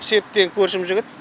серік деген көршім жігіт